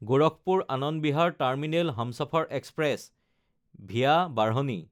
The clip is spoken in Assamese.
গোৰখপুৰ–আনন্দ Bihar terminal Humsafar express (VA বাঢ়নি)